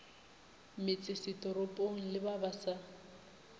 metsesetoropong le ba ba sa